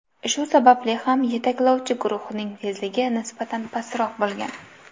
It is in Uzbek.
Shu sababli ham yetaklovchi guruhning tezligi nisbatan pastroq bo‘lgan.